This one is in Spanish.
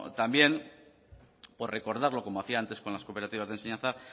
también por recordarlo como hacía antes con las cooperativas de enseñanza